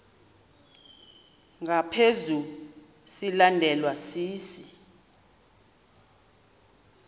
ngaphezu silandelwa sisi